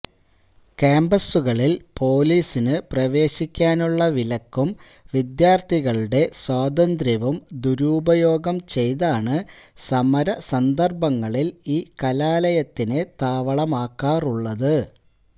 ക്യാമ്പസുകളില് പൊലീസിനു പ്രവേശിക്കാനുള്ള വിലക്കും വിദ്യാര്ത്ഥികളുടെ സ്വാതന്ത്ര്യവും ദുരുപയോഗം ചെയ്താണ് സമര സന്ദര്ഭങ്ങളില് ഈ കലാലയത്തെ താവളമാക്കാറുള്ളത്